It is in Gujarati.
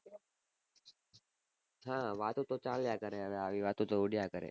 હા વાતો તો ચાલીય કરે આવી વાતો તો ઉડિયા કરે